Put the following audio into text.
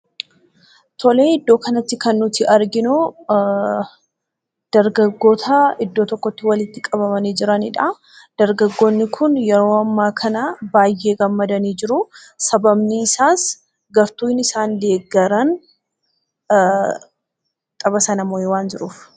Tole iddoo kanatti kan nuti arginu dargaggoota iddoo tokkootti walitti qabamanii argamanidha. Dargaggoonni Kun yeroo ammaa kana baay'ee gammadanii jiru sababni isaas gartuu isaan deeggaran tapha sana moo'ee waan jiruuf.